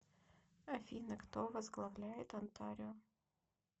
афина кто возглавляет онтарио